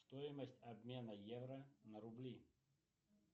стоимость обмена евро на рубли